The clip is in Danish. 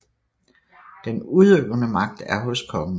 Den udøvende magt er hos kongen